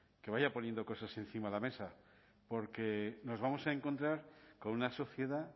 que vaya poniendo cosas encima la mesa porque nos vamos a encontrar con una sociedad